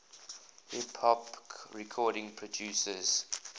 hip hop record producers